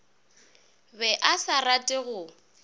be a sa rate go